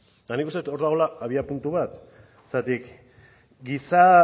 eta nik uste dut hor dagola abiapuntu bat zergatik giza